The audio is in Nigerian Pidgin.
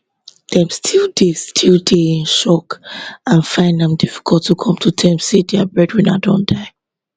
dem still dey still dey in shock and find am difficult to come to terms say dia breadwinner don die